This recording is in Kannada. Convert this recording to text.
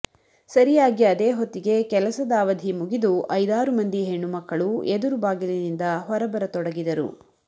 ಸರಿಯಾಗಿ ಅದೇ ಹೊತ್ತಿಗೆ ಕೆಲಸದ ಅವಧಿ ಮುಗಿದು ಐದಾರು ಮಂದಿ ಹೆಣ್ಣುಮಕ್ಕಳು ಎದುರು ಬಾಗಿಲಿನಿಂದ ಹೊರಬರತೊಡಗಿದರು